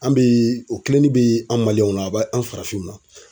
An be, o kilenin bi anw Maliyɛnw na, a be anw farafinw na